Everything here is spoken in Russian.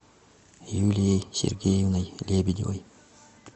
юлией сергеевной лебедевой